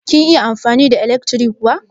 Kin iya amfani da ilekri kuwa?